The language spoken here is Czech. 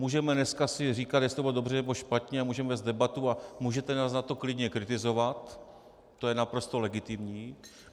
Můžeme dneska si říkat, jestli to bylo dobře, nebo špatně, a můžeme vést debatu a můžete nás za to klidně kritizovat, to je naprosto legitimní.